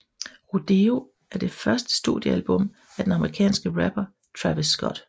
Rodeo er det første studiealbum af den amerikanske rapper Travis Scott